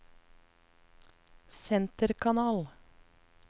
senterkanal